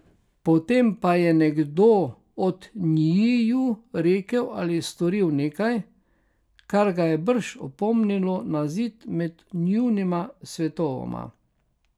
Potem pa je nekdo od njiju rekel ali storil nekaj, kar ga je brž opomnilo na zid med njunima svetovoma.